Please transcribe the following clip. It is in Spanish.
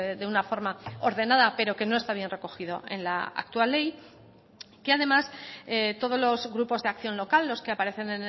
de una forma ordenada pero que no está bien recogido en la actual ley que además todos los grupos de acción local los que aparecen